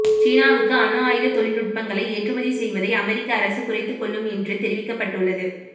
சீனாவுக்கு அணு ஆயுத தொழில்நுட்பங்களை ஏற்றுமதி செய்வதை அமெரிக்க அரசு குறைத்துக் கொள்ளும் என்று தெரிவிக்கப்பட்டுள்ளது